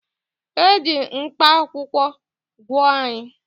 E ji mkpakwụkwọ gwọọ anyị